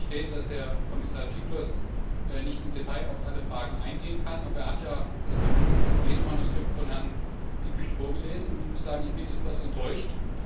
Ich kann sicherlich verstehen, dass Kommissar Cioloş nicht im Detail auf alle Fragen eingehen kann, aber er hat ja zumindest das Redemanuskript von Herrn De Gucht vorgelesen. Ich muss sagen, ich bin etwas enttäuscht.